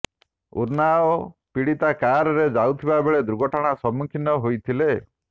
ଉନ୍ନାଓ ପୀଡ଼ିତା କାରରେ ଯାଉଥିବା ବେଳେ ଦୁର୍ଘଟଣାର ସମ୍ମୁଖୀନ ହୋଇଥିଲେ